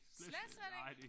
Slet slet ikke?